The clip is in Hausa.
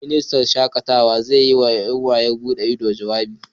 Ministan yawon shakatawa zai yi wa ƴan yawon bude ido, jawabi